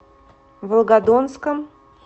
волгодонском